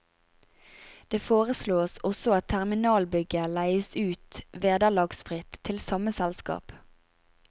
Det foreslås også at terminalbygget leies ut vederlagsfritt til samme selskap.